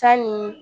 Sanni